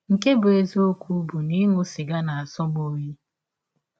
Nke bụ́ eziọkwụ bụ na ịṅụ sịga na - asọ m ọyi.